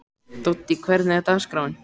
Doddý, hvernig er dagskráin?